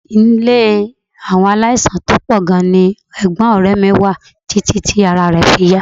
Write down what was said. Ilé àwọn aláìsàn tó pọ̀ gan-an ni ẹ̀gbọ́n ọ̀rẹ́ mi wà títí tí ará rẹ̀ fi yá